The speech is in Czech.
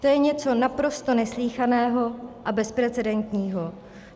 To je něco naprosto neslýchaného a bezprecedentního.